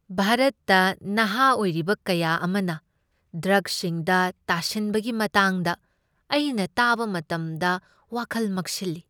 ꯚꯥꯔꯠꯇ ꯅꯍꯥ ꯑꯣꯏꯔꯤꯕ ꯀꯌꯥ ꯑꯃꯅ ꯗ꯭ꯔꯒꯁꯤꯡꯗ ꯇꯥꯁꯤꯟꯕꯒꯤ ꯃꯇꯥꯡꯗ ꯑꯩꯅ ꯇꯥꯕ ꯃꯇꯝꯗ ꯋꯥꯈꯜ ꯃꯛꯁꯤꯜꯂꯤ꯫